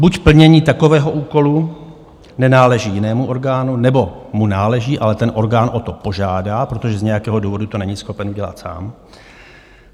Buď plnění takového úkolu nenáleží jinému orgánu, nebo mu náleží, ale ten orgán o to požádá, protože z nějakého důvodu to není schopen udělat sám.